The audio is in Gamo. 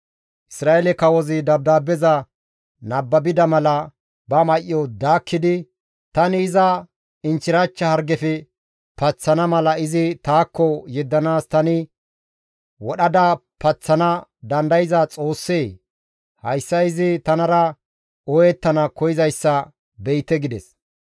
Isra7eele kawozi dabdaabbeza nababida mala ba may7o daakkidi «Tani iza inchchirachcha hargefe paththana mala izi taakko yeddanaas tani wodhada paththana dandayza Xoossee? Hayssa izi tanara ooyettana koyzayssa be7ite» gides.